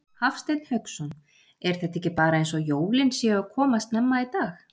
Hafsteinn Hauksson: Er þetta ekki bara eins og jólin séu að koma snemma í dag?